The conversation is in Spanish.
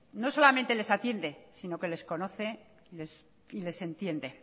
no solamente les atiende sino que les conoce les entiende